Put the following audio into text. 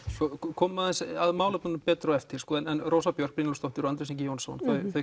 komum aðeins að málefnunum betur á eftir en Rósa Björk og Andrés Jónsson